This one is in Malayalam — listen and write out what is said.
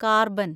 കാർബൻ